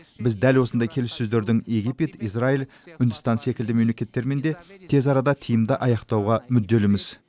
біз дәл осындай келіссөздердің египет израиль үндістан секілді мемлекеттермен де тез арада тиімді аяқтауға мүдделіміз